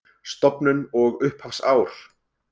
Stofnun og upphafsár